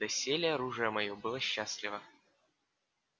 доселе оружие моё было счастливо